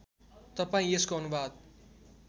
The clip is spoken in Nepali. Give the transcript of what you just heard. तपाईँ यसको अनुवाद